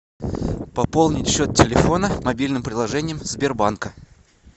пополнить счет телефона мобильным приложением сбербанка